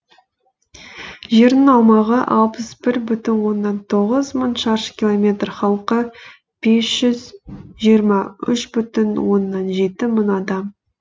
жерінің аумағы алпыс бір бүтін оннан тоғыз мың шаршы километр халқы бес жүз жиырм үш бүтін оннан жеті мың адам